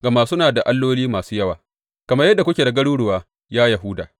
Gama kuna da alloli masu yawa kamar yadda kuke da garuruwa, ya Yahuda.